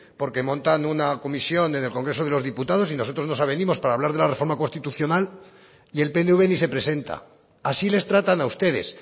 porque montan una comisión en el congreso de los diputados y nosotros no avenimos para hablar de la reforma constitucional y el pnv si se presenta así les tratan a ustedes